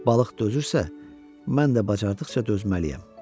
Balıq dözürsə, mən də bacardıqca dözməliyəm.